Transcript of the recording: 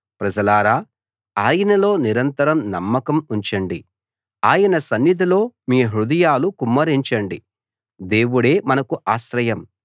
ప్రజలారా ఆయనలో నిరంతరం నమ్మకం ఉంచండి ఆయన సన్నిధిలో మీ హృదయాలు కుమ్మరించండి దేవుడే మనకు ఆశ్రయం